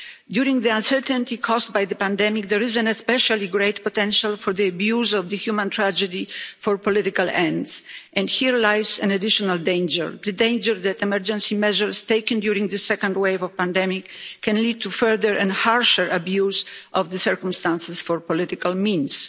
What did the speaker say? During the uncertainty caused by the pandemic, there is an especially great potential for abuse of the human tragedy for political ends and here lies an additional danger, the danger that emergency measures taken during the second wave of the pandemic can lead to further and harsher abuse of the circumstances for political means.